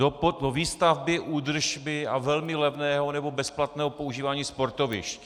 Do výstavby, údržby a velmi levného nebo bezplatného používání sportovišť.